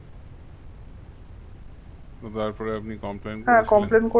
তো তারপরে আপনি complain